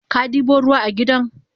Kadibo ruwa a gidan?